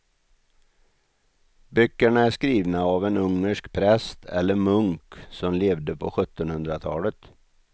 Böckerna är skrivna av en ungersk präst eller munk som levde på sjuttonhundratalet.